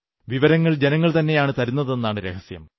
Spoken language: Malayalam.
വിവരങ്ങൾ ജനങ്ങൾതന്നെയാണു തരുന്നതെന്നതാണു രഹസ്യം